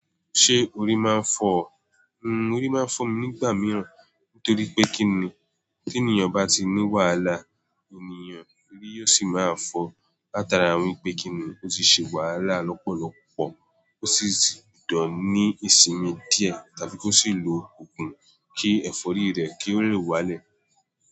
Ṣé orí máa ń fọ ọ? Orí máa ń fọ mi nígbà mìíràn. Nítorí pé kíni tí ènìyàn bá ti ní wàhálà ènìyàn, orí yóò sì máa fọ. Láta ara wípé kíni ó ti ṣe wàhálà lọ́pọ̀lọ́pọ̀ kó sì tùn ní ìsinmi díẹ̀ tàbí kó sì lo òògùn kí ẹ̀fọ́rí rẹ̀ kí ó le wálẹ̀